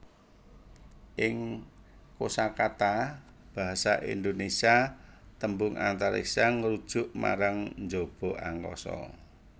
Ing kosakata basa Indonésia tembung Antariksa ngrujuk marang njaba angkasa